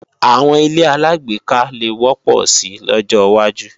Àwọn ilé-aláàgbéká le wọ́pọ̀ si lọ́jọwájú